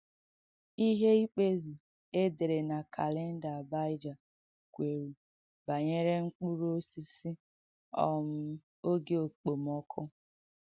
Ihe ikpézù e dèrē na kàlèndà Àbaịjà kwērū banyere mkpụrụ̀ òsìsì um ògē ọ̀kpọmụkọ́.